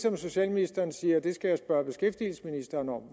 om socialministeren siger at jeg skal spørge beskæftigelsesministeren om